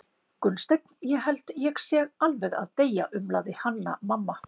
Gunnsteinn, ég held ég sé alveg að deyja, umlaði Hanna-Mamma.